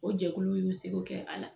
O jɛkuluw y'u seko kɛ a la.